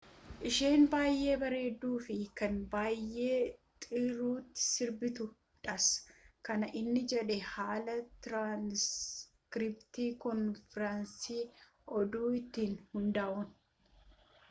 isheen baayee bareedu fi kan baayee xuruti sirbituu dhas kan inni jedhaa haala tiranskiriptii koonfiransii oduu irratti hunda'uni